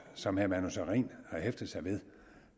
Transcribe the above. som herre manu sareen har hæftet sig ved